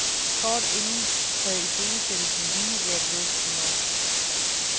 Kort inden havde iscenesættelsen været lige ved at smuldre.